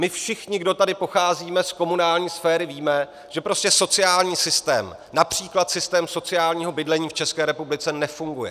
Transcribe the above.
My všichni, kteří tady pocházíme z komunální sféry, víme, že prostě sociální systém, například systém sociálního bydlení, v České republice nefunguje.